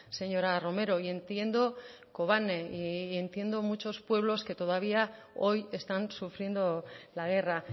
señora romero y entiendo kobane y entiendo muchos pueblos que todavía hoy están sufriendo la guerra